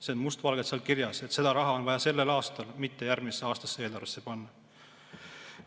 See on must valgel kirjas, et seda raha on vaja sellel aastal, mitte seda järgmise aasta eelarvesse panna.